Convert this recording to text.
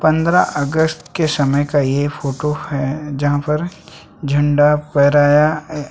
पंद्रह अगस्त के समय का यह फोटो है जहाँ पर झंडा फहराया --